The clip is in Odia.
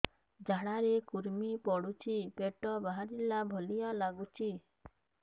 ଝାଡା ରେ କୁର୍ମି ପଡୁଛି ପେଟ ବାହାରିଲା ଭଳିଆ ଲାଗୁଚି